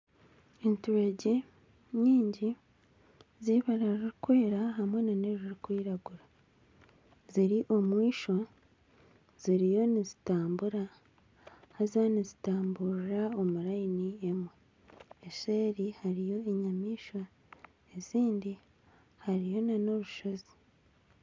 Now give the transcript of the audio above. Enturegye nyingi zibara ririkwera hamwe nana erikwiragura ziri omwishwa ziriyo nizitambura haza nizitamburira omu rayini emwe. Eseeri hariyo enyamaishwa ezindi, hariyo nana obushozi